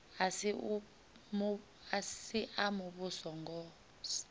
a si a muvhuso ngos